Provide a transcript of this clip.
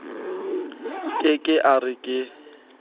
ke ke a re ke